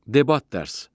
Debat dərs.